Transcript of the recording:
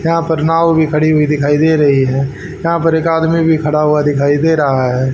यहां पर नांव भी खड़ी हुई दिखाई दे रही है यहां पर एक आदमी भी खड़ा हुआ दिखाई दे रहा है।